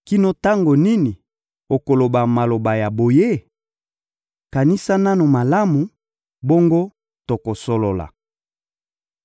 «Kino tango nini okoloba maloba ya boye? Kanisa nanu malamu, bongo tokosolola.